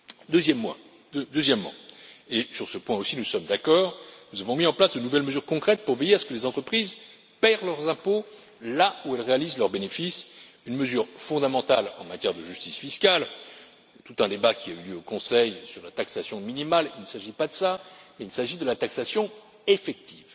Deuxièmement et sur ce point aussi nous sommes d'accord nous avons mis en place de nouvelles mesures concrètes pour veiller à ce que les entreprises paient leurs impôts là où elles réalisent leurs bénéfices, une mesure fondamentale en matière de justice fiscale tout un débat qui a eu lieu au Conseil sur la taxation minimale, mais il ne s'agit pas de ça, il s'agit de la taxation effective.